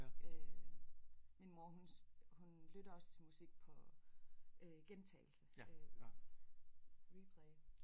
Min mor hun hun lytter også til musik på øh gentagelse øh replay